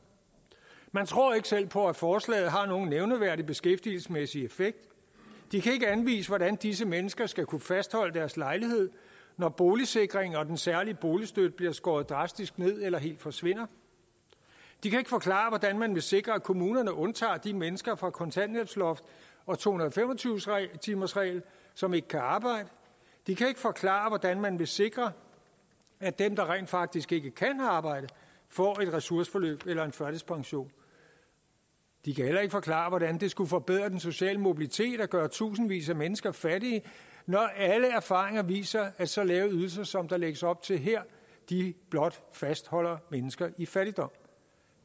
man tror ikke selv på at forslaget har nogen nævneværdig beskæftigelsesmæssig effekt de kan ikke anvise hvordan disse mennesker skal kunne fastholde deres lejlighed når boligsikringen og den særlige boligstøtte bliver skåret drastisk ned eller helt forsvinder de kan ikke forklare hvordan man vil sikre at kommunerne undtager de mennesker fra kontanthjælpsloftet og to hundrede og fem og tyve timersreglen som ikke kan arbejde de kan ikke forklare hvordan man vil sikre at dem der rent faktisk ikke kan arbejde får et ressourceforløb eller en førtidspension de kan heller ikke forklare hvordan det skulle forbedre den sociale mobilitet at gøre tusindvis af mennesker fattige når alle erfaringer viser at så lave ydelser som der lægges op til her blot fastholder mennesker i fattigdom